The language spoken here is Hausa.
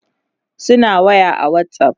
suna waya a Whatsapp